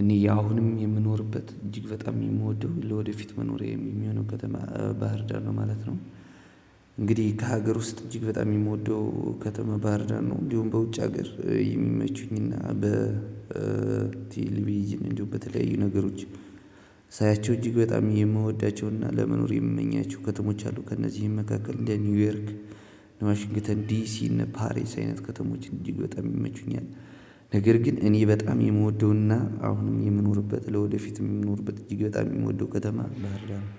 እኔ አሁንም የምኖርበት እጅግ በጣም የምወደው ለወደፊት መኖሬ የሚሆነው ከተማ ባህር ዳር ነው ማለት ነው። እንግዲህ ከሀገር ውስጥ እጅግ በጣም የምወደው ከተማ ባህር ዳር ነው። እንዲሁም በውጭ ሀገር የሚመቹኝና በ ቲልቪዥን እንዲሁ በተለያዩ ነገሮች ሳያቸው እጅግ በጣም የምወዳቸውና ለመኖር የምመኛቸው ከተሞች አሉ ከእነዚህም መካከል እንደ ኒውዮርክ ዋሽንግተን ዲሲ እነ ፓሪስ አይነት ከተሞች እጅግ በጣም ይመቹኛል። ነገር ግን እኔ በጣም የምወደውና አሁንም የምኖርበት ለወደፊትም የምኖርበት እጅግ በጣም የምወደው ከተማ ባህር ዳር